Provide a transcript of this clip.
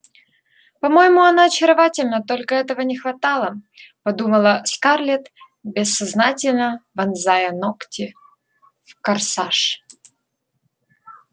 по-моему она очаровательна только этого не хватало подумала скарлетт бессознательно вонзая ногти в корсаж